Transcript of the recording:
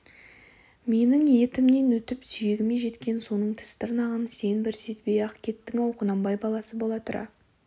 менің етімнен өтіп сүйегіме жеткен соның тіс-тырнағын сен бір сезбей-ақ кеттің-ау құнанбай баласы бола тұра